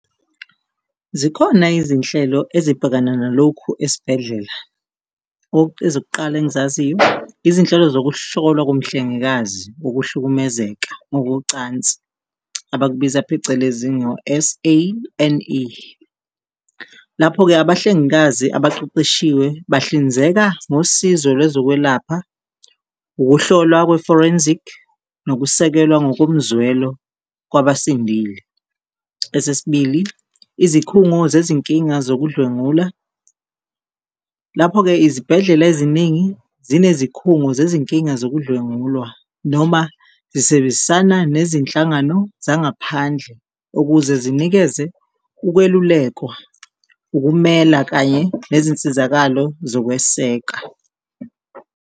Zikhona izinhlelo ezibhekana nalokhu esibhedlela, ezokuqala engizaziyo izinhlelo zokuhlola komhlengikazi ukuhlukumezeka ngokocansi abakubiza phecelezi ngo-S_A_N_E. Lapho-ke abahlengikazi abaqeqeshiwe bahlinzeka ngosizo lwezokwelapha, ukuhlolwa kwe-forensic nokusekelwa ngokomzwelo kwabasindile. Esesibili, izikhungo zezinkinga sokudlwengula, lapho-ke izibhedlela eziningi zinezikhungo zezinkinga sokudlengulwa noma zisebenzisana nezinhlangano zangaphandle ukuze zinikeze ukwelulekwa, ukumela kanye nezinsizakalo zokweseka.